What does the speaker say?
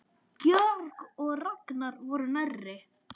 Georg og Ragnar voru nærri.